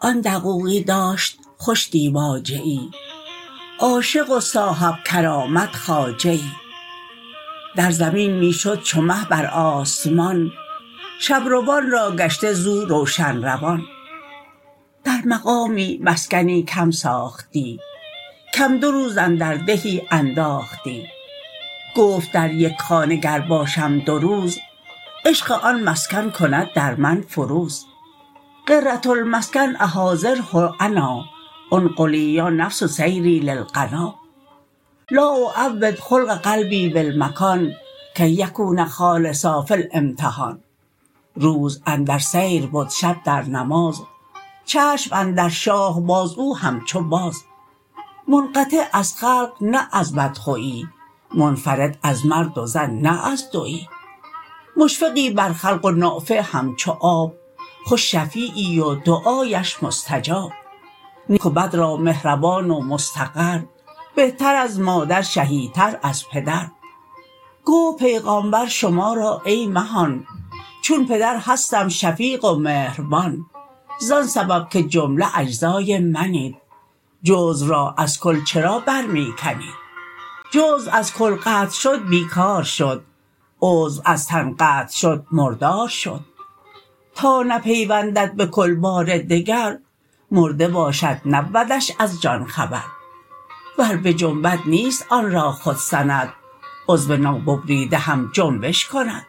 آن دقوقی داشت خوش دیباجه ای عاشق و صاحب کرامت خواجه ای در زمین می شد چو مه بر آسمان شب روان راگشته زو روشن روان در مقامی مسکنی کم ساختی کم دو روز اندر دهی انداختی گفت در یک خانه گر باشم دو روز عشق آن مسکن کند در من فروز غرة المسکن احاذره انا انقلی یا نفس سیری للغنا لا اعود خلق قلبی بالمکان کی یکون خالصا فی الامتحان روز اندر سیر بد شب در نماز چشم اندر شاه باز او همچو باز منقطع از خلق نه از بد خوی منفرد از مرد و زن نه از دوی مشفقی بر خلق و نافع همچو آب خوش شفعیی و دعااش مستجاب نیک و بد را مهربان و مستقر بهتر از مادر شهی تر از پدر گفت پیغامبر شما را ای مهان چون پدر هستم شفیق و مهربان زان سبب که جمله اجزای منید جزو را از کل چرا بر می کنید جزو از کل قطع شد بی کار شد عضو از تن قطع شد مردار شد تا نپیوندد به کل بار دگر مرده باشد نبودش از جان خبر ور بجنبد نیست آن را خود سند عضو نو ببریده هم جنبش کند